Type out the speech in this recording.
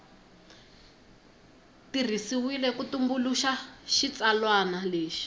tirhisiwile ku tumbuluxa xitsalwana lexi